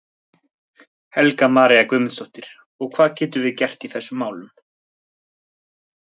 Helga María Guðmundsdóttir: Og hvað getum við gert í þessum málum?